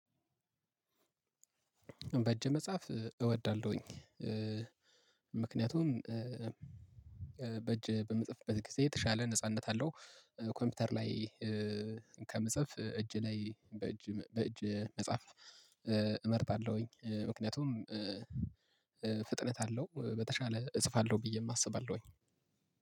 በእጅ መጻፍ እወዳለሁኝ። ምክንያቱም በእጅ በምጽፍበት ጊዜ የተሻለ ነጻነት አለው። ኮምፒውተር ላይ ከምጽፍ እጅ ላይ በእጅ በእጅ መጽሐፍ እመርጣለሁኝ። ምክንያቱም ፍጥነት አለው በተሻለ እጽፋለሁ ብዬ አስባለሁኝ።